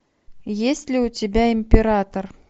есть ли у тебя император